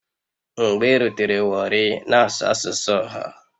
Mgbe irutere warri na-asụ asụsụ ọha.